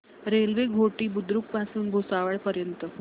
railway Ghoti Budruk पासून भुसावळ पर्यंत